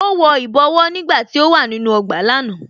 Ó wọ ìbọwọ́ nígbàtí ó wà nínú ọgbà lánàá